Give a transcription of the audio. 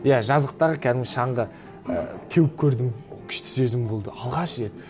иә жазықтағы кәдімгі шаңғы ы теуіп көрдім күшті сезім болды алғаш рет